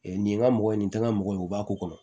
nin ye n ka mɔgɔ ye nin tɛ n ka mɔgɔw ye u b'a k'u kɔnɔ